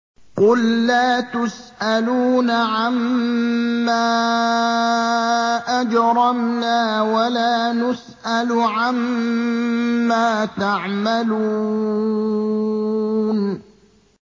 قُل لَّا تُسْأَلُونَ عَمَّا أَجْرَمْنَا وَلَا نُسْأَلُ عَمَّا تَعْمَلُونَ